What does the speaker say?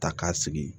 Ta k'a sigi